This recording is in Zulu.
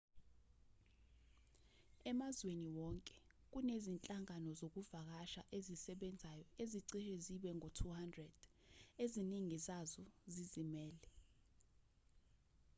emazweni wonke kunezinhlangano zokuvakasha ezisebenzayo ezicishe zibe ngu-200 eziningi zazo zizimele